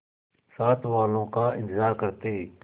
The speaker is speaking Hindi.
साथ वालों का इंतजार करते